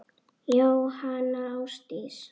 Jóhanna Ásdís.